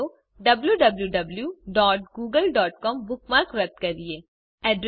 ચાલો wwwgooglecom bookmark રદ કરીએ